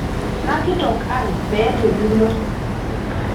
nakitok ai meeta enilo